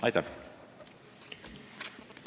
Aitäh!